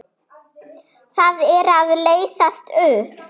Það er að leysast upp.